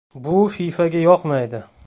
Bu FIFAga yoqmaydi.